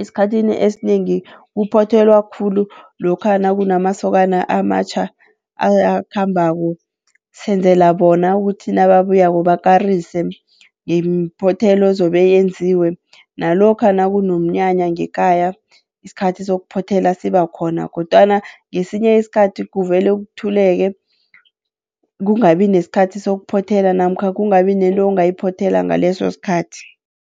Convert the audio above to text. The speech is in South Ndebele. esikhathini esinengi kuphothelwa khulu lokha nakunamasokana amatjha ayakhambako. Senzela bona ukuthi nababuyako bakarise ngemiphothelo ezobe yenziwe, nalokha nakunomnyanya ngekhaya isikhathi sokuphothela sibakhona. Kodwana ngesinye isikhathi kuvele kuthuleke, kungabi nesikhathi sokuphothela namkha kungabi nento ongayiphothela ngaleso sikhathi.